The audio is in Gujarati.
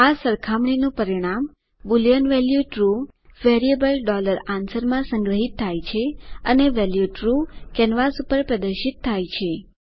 આ સરખામણીનું પરિણામ boolean value true variable answer માં સંગ્રહિત થાય છે અને વેલ્યુ ટ્રૂ કેનવાસ ઉપર પ્રદર્શિત થાય છે